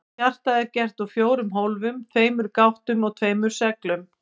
Hjartað er gert úr fjórum hólfum, tveimur gáttum og tveimur sleglum.